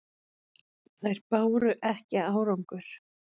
Þær báru ekki árangur.